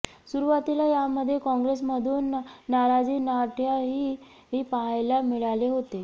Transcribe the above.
सुरुवातीला यामध्ये काँग्रेस मधून नाराजीनाट्यही पहायला मिळाले होते